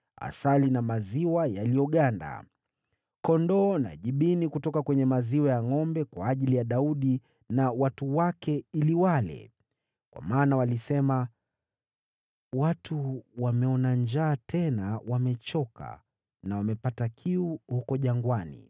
asali na maziwa yaliyoganda, kondoo na jibini kutoka kwenye maziwa ya ngʼombe kwa ajili ya Daudi na watu wake ili wale. Kwa maana walisema, “Watu wameona njaa, tena wamechoka na wamepata kiu huko jangwani.”